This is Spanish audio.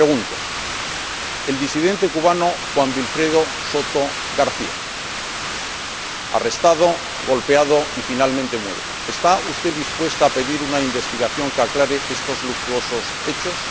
Le pregunto En relación con el disidente cubano Juan Wilfredo Soto García, arrestado, golpeado y finalmente muerto, ¿está usted dispuesta a pedir una investigación que aclare estos luctuosos hechos?